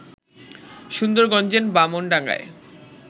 সুন্দরগঞ্জের বামনডাঙ্গায়